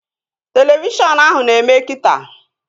Televishọn ahụ na-eme kita